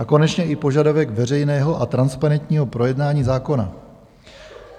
A konečně i požadavek veřejného a transparentního projednání zákona.